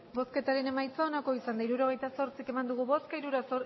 hirurogeita zortzi eman dugu bozka